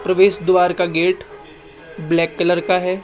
प्रवेश द्वार का गेट ब्लैक कलर का है।